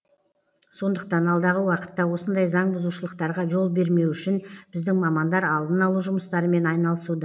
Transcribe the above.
сондықтан алдағы уақытта осындай заңбұзушылықтарға жол бермеу үшін біздің мамандар алдын алу жұмыстарымен айналысуда